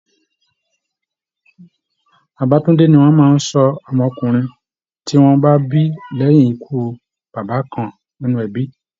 Babatúndé ni wọn máa ń sọ ọmọkùnrin tí wọ́n bá bí lẹ́yìn ikú bàbá kan nínú ẹbi